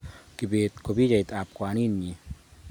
Kibet ko pichait ab kwaninyi